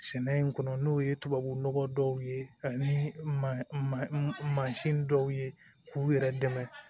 Sɛnɛ in kɔnɔ n'o ye tubabu nɔgɔ dɔw ye ani mansin dɔw ye k'u yɛrɛ dɛmɛ